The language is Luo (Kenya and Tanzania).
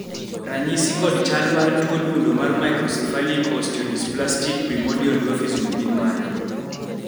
ranyisi kod chal mar tuo dundo mar Microcephalic osteodysplastic primordial dwarfism gin mage?